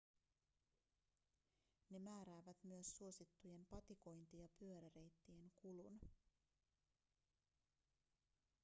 ne määräävät myös suosittujen patikointi- ja pyöräreittien kulun